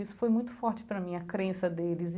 Isso foi muito forte para mim, a crença deles.